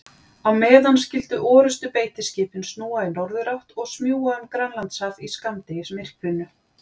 Á meðan skyldu orrustubeitiskipin snúa í norðurátt og smjúga um Grænlandshaf í skammdegismyrkrinu.